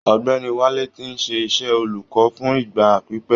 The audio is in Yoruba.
Ogbèni Wálé tí ń ṣe iṣẹ́ olùkọ́ fún ìgbà pípẹ́.